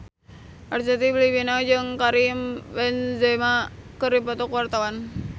Arzetti Bilbina jeung Karim Benzema keur dipoto ku wartawan